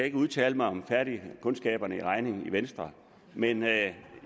ikke udtale mig om kundskaberne i regning i venstre men